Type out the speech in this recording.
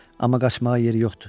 Amma qaçmağa yeri yoxdu.